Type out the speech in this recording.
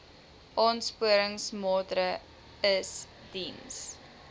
aansporingsmaatre ls diens